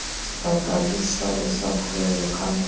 vakaliso lwesaphulelo lukhankanywe